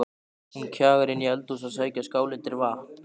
Hún kjagar inn í eldhús að sækja skál undir vatn.